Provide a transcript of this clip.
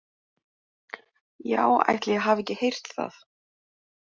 Já, ætli ég hafi ekki heyrt það!